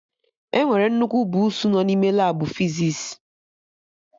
Enwere nnukwu buusu nọ n'ime Labụ fizis